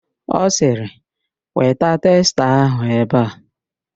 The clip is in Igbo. Ọ sịrị, weta testa ahụ ebe a!